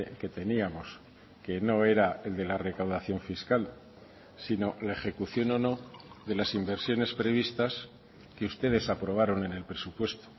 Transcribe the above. que teníamos que no era el de la recaudación fiscal sino la ejecución o no de las inversiones previstas que ustedes aprobaron en el presupuesto